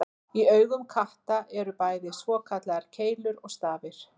Í augum katta eru bæði svokallaðar keilur og stafir.